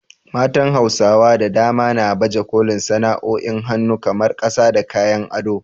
Matan Hausawa da dama na baje kolin sana’o’in hannu kamar saƙa da kayan ado.